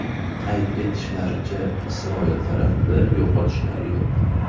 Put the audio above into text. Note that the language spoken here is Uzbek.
Qayd etishlaricha, Isroil tarafida yo‘qotishlar yo‘q.